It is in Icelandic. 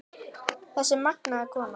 Þessi magnaða kona.